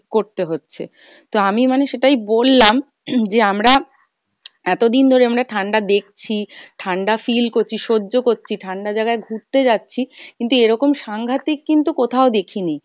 করতে হচ্ছে। তো আমি মানে সেটাই বললাম যে আমরা এত দিন ধরে আমরা ঠাণ্ডা দেখছি, ঠাণ্ডা feel করছি সহ্য করছি, ঠাণ্ডা জাগায় ঘুরতে যাচ্ছি, কিন্তু এরকম সাংঘাতিক কিন্তু কোথাও দেখিনি।